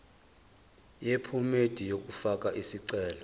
yephomedi yokufaka isicelo